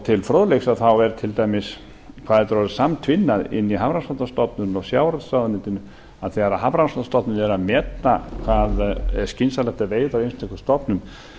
til fróðleiks um hvað þetta er orðið samtvinnað inni í hafrannsóknastofnun og sjávarútvegsráðuneytinu að þegar hafrannsóknastofnun er að meta hvað er skynsamlegt að veiða í einstökum stofnum